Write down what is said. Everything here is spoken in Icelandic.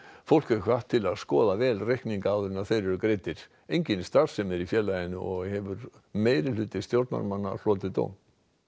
fólk er hvatt til að skoða vel reikninga áður en þeir eru greiddir engin starfsemi er í félaginu og hefur meirihluti stjórnarmanna hlotið dóm